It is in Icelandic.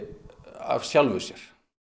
af sjálfu sér